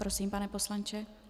Prosím, pane poslanče.